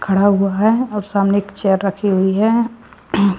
खड़ा हुआ है और सामने एक चेयर रखी हुई है।